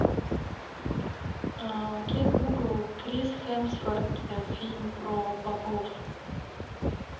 окей гугл крис хемсворт фильм про богов